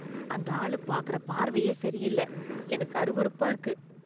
அந்த ஆளு பார்க்கற பார்வையே சரியில்ல, எனக்கு அருவருப்பா இருக்கு.